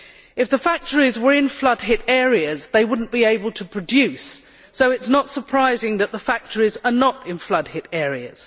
If the factories were in flood hit areas, they would not be able to produce, so it is not surprising that the factories concerned are not in flood hit areas.